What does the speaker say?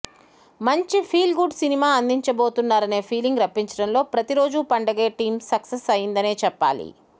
మంచి feel good cinema అందించబోతున్నారనే feeling రప్పించడంలో ప్రతిరోజూ పండగే టీమ్ సక్సెస్ అయిందనే చెప్పాలి